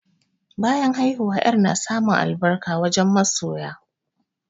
Bayan haihuwa, yarp na samun albarka wajen masoya.